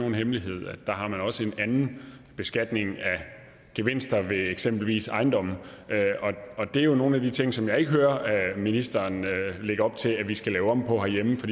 nogen hemmelighed at der har man også en anden beskatning af gevinster ved eksempelvis ejendomme og det er nogle af de ting som jeg ikke hører ministeren lægge op til at vi skal lave om på herhjemme for